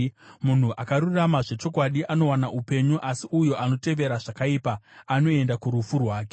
Munhu akarurama zvechokwadi anowana upenyu, asi uyo anotevera zvakaipa anoenda kurufu rwake.